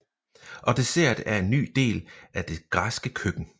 Og dessert er en ny del af det græske køkken